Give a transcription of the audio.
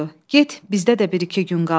Get, bizdə də bir-iki gün qal.